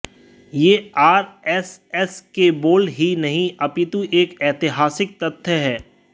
यह आरएसएस के बोल ही नहीं अपितु एक ऐतिहासिक तथ्य है